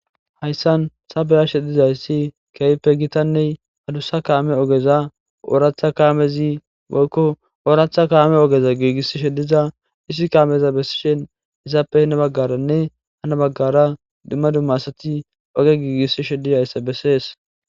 hayssan sabeyashe dizayssi keeyppe gitanney hadussa kaame ogeza ooratha kaamezi boykko ooratha kaame ogeza giigissi shediza hisi kaameza bessishen izaappe hina baggaranne hana baggara dumma dumma asati oge giigissi shedizayssa bessees